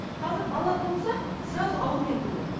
қазір бала туылса сразу аурумен туылады